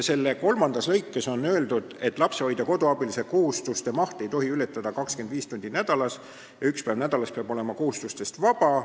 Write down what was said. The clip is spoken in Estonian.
Selle kolmandas lõikes on öeldud, et lapsehoidja-koduabilise kohustuste maht ei tohi ületada 25 tundi nädalas ja üks päev nädalas peab olema kohustustest vaba.